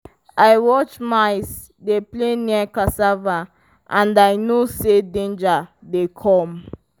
i watch mice dey play near cassava and i know say danger dey come.